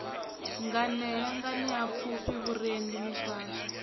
nganea nganea pfufhi vhurendi miswaswo